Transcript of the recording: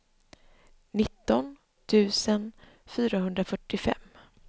nitton tusen fyrahundrafyrtiofem